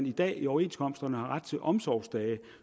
i dag i overenskomsterne har ret til omsorgsdage